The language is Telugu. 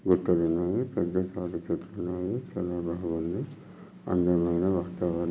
గుట్టలున్నాయి పెద్ద తాడిచ్చేట్లున్నాయి చాలా బాగుంది అందమైన వాతావరణం.